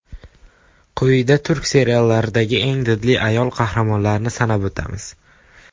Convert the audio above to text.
Quyida turk seriallaridagi eng didli ayol qahramonlarni sanab o‘tamiz.